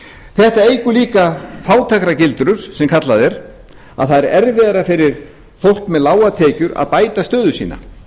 þetta eykur líka fátæktargildrum sem kallað er að það er erfiðara fyrir fólk með lágar tekjur að bæta stöðu sína